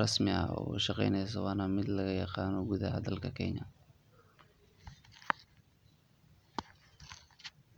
rasmi ah oo ushaqeyneyso waa nah mid lagayaqano gudaha dalka kenya.